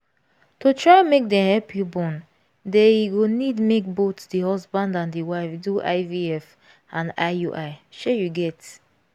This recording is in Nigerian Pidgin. to try make them help you born dey e go need make both the husband and the wife do ivf and iui shey you get